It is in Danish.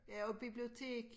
Ja og bibliotek